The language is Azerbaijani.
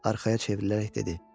Arxaya çevrilərək dedi.